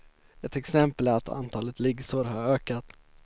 Ett exempel är att antalet liggsår har ökat.